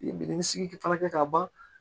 Minɛn sigi fana kɛ ka ban